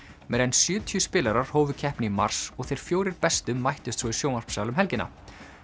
meira en sjötíu spilarar hófu keppni í mars og þeir fjórir bestu mættust svo í sjónvarpssal um helgina